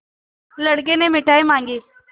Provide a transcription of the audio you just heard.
लड़के ने मिठाई मॉँगी